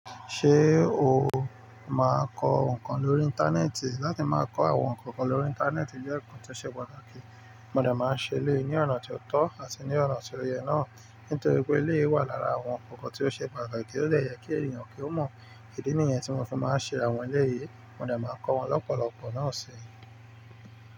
Ṣé o máa kọ ǹkan lórí Íńtánẹ́ẹ̀tì? Láti máa kọ àwọn ǹkan kan lórí Íńtánẹ́ẹ̀tì jẹ́ ǹkan tó ṣe pàtàkì. Mo de máa ń ṣe eleyi ní ọ̀nà ti ó tọ́ àti ní ọ̀nà ti oyẹ náà. Nítorí pé eléyìí wà lára àwọn ǹkan kan tó ṣe pàtàkì tó dè yẹ kí èèyàn kí ó mọ ìdí nìyẹn tí mọ́ fi máa ń ṣe àwọn eléyìí. Mo de máa n kọ wọn lọ́pọ̀lọpọ̀ náà síi.